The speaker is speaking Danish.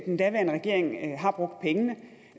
den daværende regering har brugt pengene